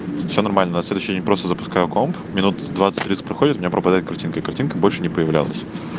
все нормально на следующий день просто запускаю комп минут двадцать тридцать проходит у меня пропадает картинка и картинка больше не появлялась